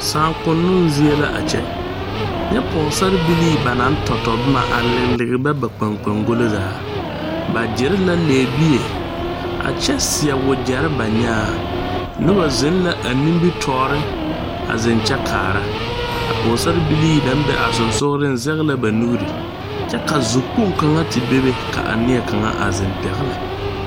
Saakonoŋ zie la a kyɛ nyɛ pɔɔsarebilii ba naŋ tɔtɔ bomma a lige ba ba kpaŋkpangɔlo zaa ba gyire la lɛɛbie a kyɛ seɛ wagyɛrre ba nyaaŋ nobɔ zeŋ la a nimitoore a zeŋ kyɛ kaara a pɔɔsarebilii naŋ be a sensugliŋ zege la ba nuure kyɛ ka zu kpoŋ kaŋa te bebe ka a neɛ kaŋa. te zeŋ pɛgle